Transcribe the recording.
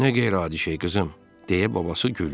Nə qeyri-adi şey qızım, deyə babası güldü.